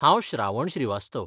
हांव श्रावण श्रीवास्तव.